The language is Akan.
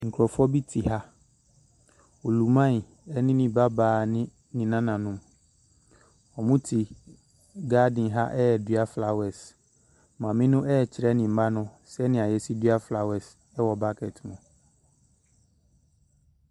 Nkorɔfoɔ bi te ha oluman ɛna ne ba baa ne ne nananom wɔn mo te garden ha redua flowers maame no ɛrekyerɛ ne mma no sɛdeɛ yɛsi dua flowers ɛwɔ bokiti mu.